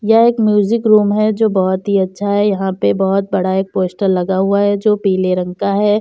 ये एक music room है जो बहोत ही अच्छा है। यहाँ पे बहोत बड़ा एक पोस्टर लगा हुआ है जो पीले रंग का है।